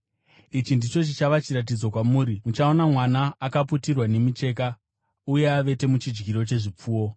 Ichi ndicho chichava chiratidzo kwamuri: Muchawana mwana akaputirwa nemicheka uye avete muchidyiro chezvipfuwo.”